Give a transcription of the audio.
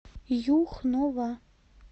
юхнова